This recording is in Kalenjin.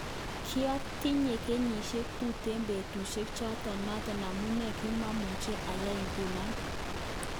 Kiotinye kenyishek tuten betushek choton noton amune kimomuche ayai kounon.